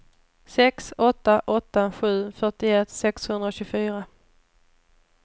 sex åtta åtta sju fyrtioett sexhundratjugofyra